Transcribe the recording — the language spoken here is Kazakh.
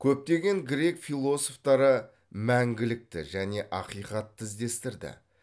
көптеген грек философтары мәңгілікті және ақиқатты іздестірді